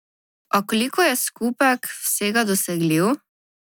A koliko je skupek vsega dosegljiv?